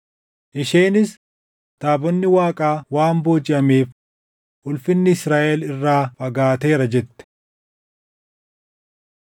Isheenis, “Taabonni Waaqaa waan boojiʼameef ulfinni Israaʼel irraa fagaateera” jette.